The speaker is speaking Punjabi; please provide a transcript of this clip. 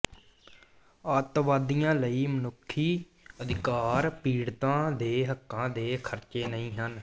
ਅੱਤਵਾਦੀਆਂ ਲਈ ਮਨੁੱਖੀ ਅਧਿਕਾਰ ਪੀੜਤਾਂ ਦੇ ਹੱਕਾਂ ਦੇ ਖਰਚੇ ਨਹੀਂ ਹਨ